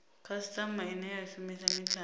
khasitama ine ya shumisa mithara